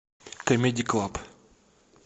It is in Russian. камеди клаб